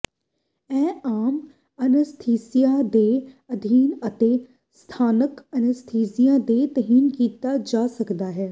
ਇਹ ਆਮ ਅਨੱਸਥੀਸੀਆ ਦੇ ਅਧੀਨ ਅਤੇ ਸਥਾਨਕ ਅਨੱਸਥੀਸੀਆ ਦੇ ਤਹਿਤ ਕੀਤਾ ਜਾ ਸਕਦਾ ਹੈ